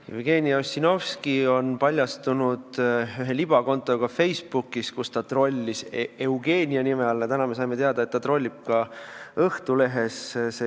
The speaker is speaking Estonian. Jevgeni Ossinovski on paljastunud ühe libakonto omanikuna Facebookis, kus ta on trollinud Eugeniuse nime all, aga täna saime teada, et ta trollib ka Õhtulehes.